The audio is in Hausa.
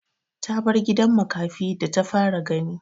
Ta bar gidan makafi da ta fara gani.